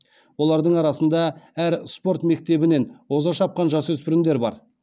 олардың арасында әр спорт мектебінен оза шапқан жасөспірімдер бар